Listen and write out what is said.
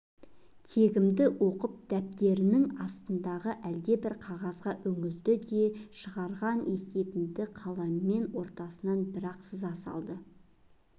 тегімді оқып дәптерінің астындағы әлдебір қағазға үңілді де шығарған есебімді қаламмен ортасынан бір-ақ сыза салды